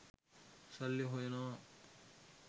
සල්ලි හොයනවා.